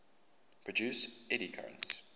produce eddy currents